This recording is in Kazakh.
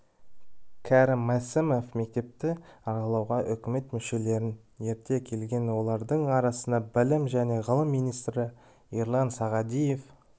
кәрім мәсімов мектепті аралауға үкімет мүшелерін ерте келген олардың арасында білім және ғылым министрі ерлан сағадиев